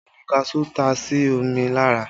Omi kaṣuú ta si mi lára